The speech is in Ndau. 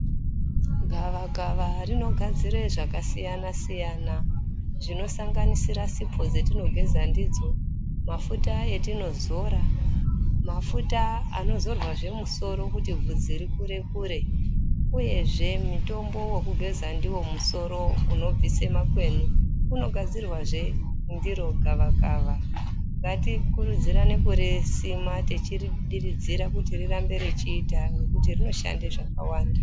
Gava kava rino gadzire zvaka siyana siyana zvino sanganisira sipo dzetino geza ndidzo mafuta etino zora mafuta ano zorwa zve musoro kuti vhudzi ri kure kure uyezve mitombo weku geza ndiwo musoro uno bvise makwenyu uno gadzirwazve ndiro gava kava ngati kurudzirane kurisima tichiri diridzira kuti rirambe rechiita ngekuti rino shande zvakawanda.